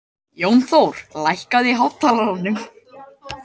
Jónþór, lækkaðu í hátalaranum.